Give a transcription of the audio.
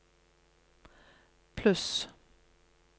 pluss